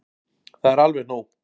Það er alveg nóg.